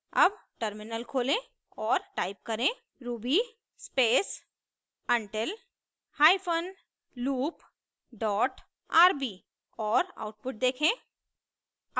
अब टर्मिनल खोलें और टाइप करें ruby space until hyphen loop dot rb और आउटपुट देखें